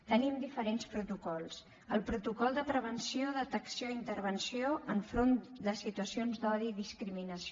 tenim diferents protocols el protocol de prevenció detecció i intervenció enfront de situacions d’odi i discriminació